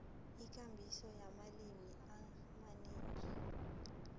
ikambiso yamalimi amanengi